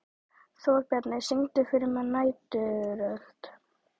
Þórbjarni, syngdu fyrir mig „Næturrölt“.